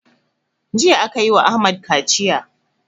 Jiya akayi wa ahmad kaciya